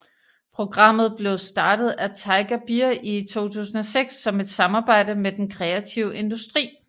Programmet blev startet af Tiger Beer i 2006 som et samarbejde med den kreative industri